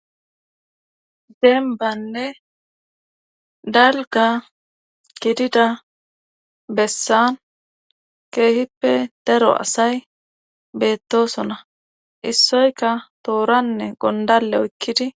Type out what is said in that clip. Deembanne dalga gidida bessan keehippe daro asay beettosona issoyka tooranne gondalle oykkidi